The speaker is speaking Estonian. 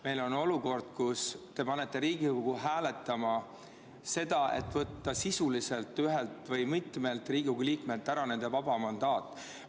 Meil on olukord, kus te panete Riigikogu hääletama sisuliselt seda, et võtta ühelt või mitmelt Riigikogu liikmelt ära nende vaba mandaat.